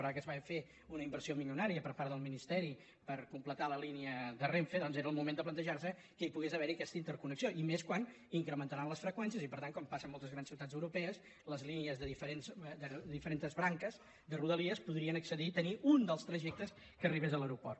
però ara que es farà una inversió milionària per part del ministeri per completar la línia de renfe doncs era el moment de plantejar se que hi pogués haver aquesta interconnexió i més quan incrementaran les freqüències i per tant com passa en moltes grans ciutats europees les línies de diferents branques de rodalies podrien accedir a tenir un dels trajectes que arribés a l’aeroport